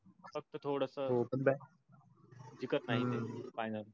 फक्त थोडंस जिंकत नाही. final